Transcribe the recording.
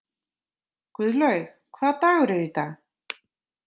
Guðlaug, hvaða dagur er í dag?